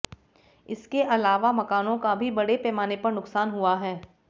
इसके अलावा मकानों का भी बड़े पैमाने पर नुक्सान हुआ है